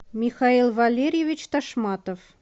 михаил валерьевич ташматов